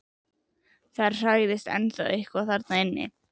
Það hrærist ennþá eitthvað þarna inni.